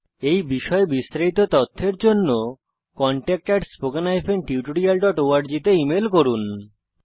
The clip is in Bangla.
এই বিষয়ে বিস্তারিত তথ্যের জন্য contactspoken tutorialorg তে ইমেল করুন